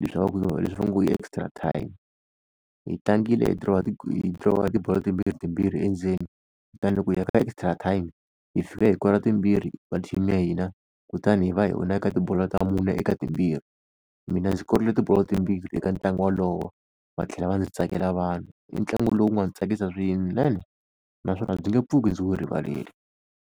leswi va ngo i extra time. Hi tlangile hi dirowa tibolo timbirhi timbirhi endzeni, kutani loko hi ya ka extra time hi fike hi kora timbirhi ta team ya hina, Kutani hi va hi wina eka tibolo ta mune eka timbirhi. Mina ndzi korile tibolo timbirhi eka ntlangu wolowo, va tlhela va ndzi tsakela vanhu. I ntlangu lowu nga ni tsakisa swinene naswona ndzi nge pfuki ndzi wu rivarile.